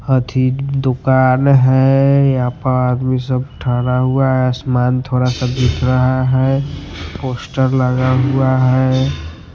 हथी दुकान है यहाँ पर आदमी सब थड़ा हुआ है आसमान थोड़ा सा दिख रहा है पोस्टर लगा हुआ है।